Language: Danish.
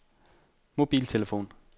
mobiltelefon